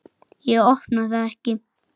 Ég opna það ekki.